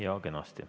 Jaa, kenasti.